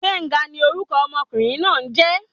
Gbenga ni orúkọ ọmọkùnrin náà n jé